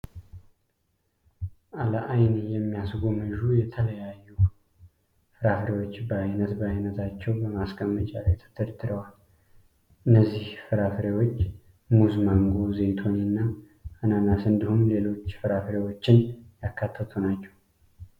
ለአይን የሚያስጎመዡ የተለያዩ ፍራፍሬዎች በአይነት በአይነታቸው በማስቀመጫ ላይ ተደርድረዋል። እነዚህ ፍራፍሬዎች ሙዝ፣ ማንጎ፣ ዘይቱኒ እና አናናስን እንዲሁም ሌሎች ፍራፍሬዎችን ያካተቱ ናቸው።